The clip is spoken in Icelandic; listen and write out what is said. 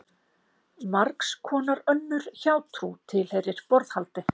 Margs konar önnur hjátrú tilheyrir borðhaldi.